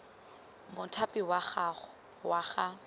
mothapi wa gago wa ga